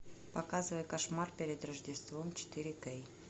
показывай кошмар перед рождеством четыре кей